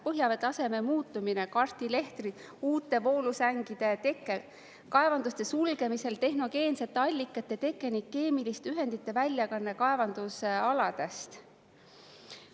Põhjavee taseme muutumine karstilehtri, uute voolusängide tekkel, kaevanduste sulgemisel tehnogeensete allikate teke ning keemiliste ühendite väljakanne kaevandusaladest.